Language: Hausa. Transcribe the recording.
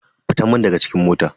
Fitan mun daga cikin mota.